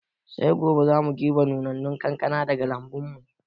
Sai gobe za mu girɓi nunannun kankana daga lambun mu